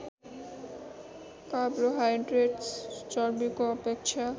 carbohydrates चर्बीको अपेक्षा